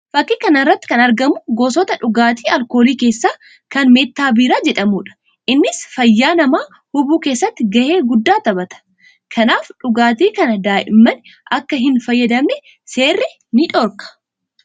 Fakkii kana irratti kan argamu gosoota dhugaatii alkoolii keessaa kan meettaa biiraa jedhamuudha. Innis fayyaa namaa hubuu keessatti ga'ee guddaa taphata. Kanaaf dhugaatii kana daa'immanni akka hin fayyadamne seerri ni dhorka.